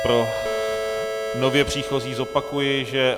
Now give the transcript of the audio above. Pro nově příchozí zopakuji, že...